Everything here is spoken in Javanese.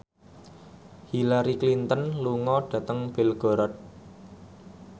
Hillary Clinton lunga dhateng Belgorod